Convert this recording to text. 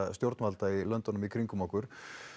stjórnvalda í löndunum í kringum okkur